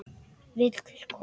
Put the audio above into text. Vill komast frá þeim stóra.